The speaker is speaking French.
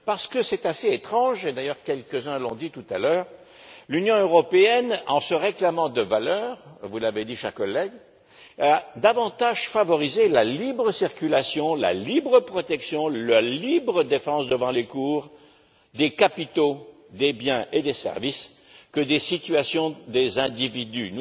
Parce qu'il est assez étrange et d'ailleurs quelques uns l'ont dit tout à l'heure que l'Union européenne, en se réclamant de valeurs comme vous l'avez dit, cher collègue ait davantage favorisé la libre circulation, la libre protection, la libre défense devant les tribunaux des capitaux, des biens et des services que des situations des individus.